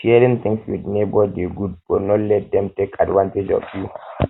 sharing things with neighbor dey good but no um let dem take advantage of you